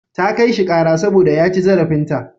Ta kai shi ƙara saboda ya ci zarafinta.